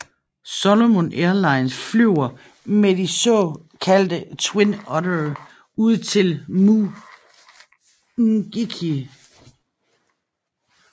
Solomon Airlines flyver med de så kaldte Twin Oddere ud til Mu Ngiki